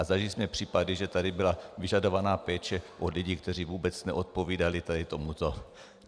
A zažili jsme případy, že tady byla vyžadovaná péče od lidí, kteří vůbec neodpovídali tady tomuto.